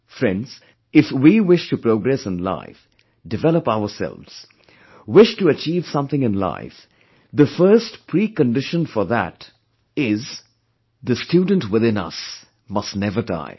Friends, if we wish to progress in life, develop ourselves, wish to achieve something in life, the first precondition for that is the student within us must never die